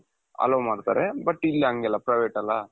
allow ಮಾಡ್ತಾರೆ but ಇಲ್ಲಂಗಲ್ಲ private ಅಲ್ಲ